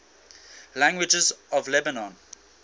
languages of lebanon